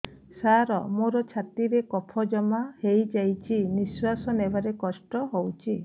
ସାର ମୋର ଛାତି ରେ କଫ ଜମା ହେଇଯାଇଛି ନିଶ୍ୱାସ ନେବାରେ କଷ୍ଟ ହଉଛି